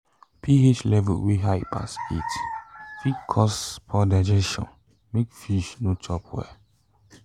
ph level wey high pass eight fit cause poor digestion make fish no chop well